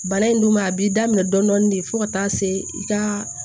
Bana in dun ma a b'i daminɛ dɔɔnin de fo ka taa se i ka